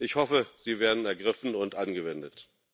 Ich hoffe, sie werden ergriffen und angewendet.